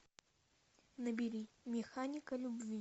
набери механика любви